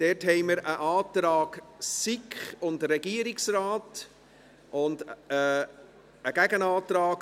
Dort haben wir einen Antrag der SiK und des Regierungsrates sowie einen Gegenantrag